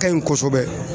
Ka ɲi kosɛbɛ